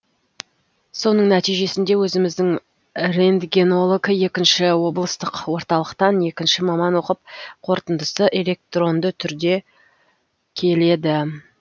соның нәтижесінде өзіміздің рентгенолог екінші облыстық орталықтан екінші маман оқып қорытындысы электронды түрде келеді